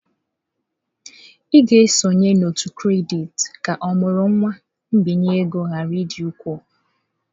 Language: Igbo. Ị ga-esonye n'òtù kredit ka ọmụrụ nwa mbinye ego ghara ịdị ukwuu.